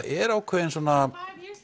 er ákveðinn svona